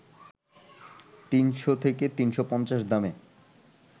৩০০ থেকে ৩৫০ দামে